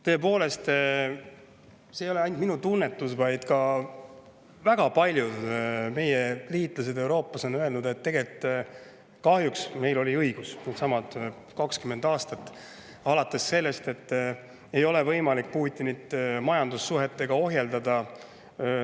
Tõepoolest, see ei ole ainult minu tunnetus, vaid ka väga paljud meie liitlased Euroopas on öelnud, et kahjuks meil oli õigus needsamad 20 aastat, alates sellest, et ei ole võimalik Putinit majandussuhetega ohjeldada.